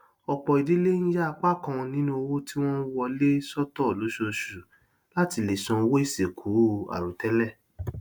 ọpọ ìdílé ń yà apá kan nínú owó tí wọn ń wọlé sọtọ lóṣooṣù láti lè san owó ìsìnkú àìròtẹlẹ